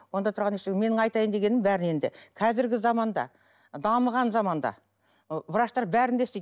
онда тұрған ештеңе менің айтайын дегенім бәріне енді қазіргі заманда дамыған заманда ы врачтар бәрін де істейді